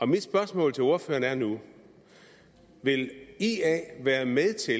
mit spørgsmål til ordføreren er nu vil ia være med til